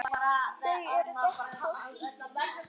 Þau eru gott fólk.